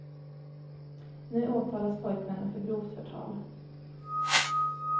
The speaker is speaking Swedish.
Nu åtalas pojkvännen för grovt förtal.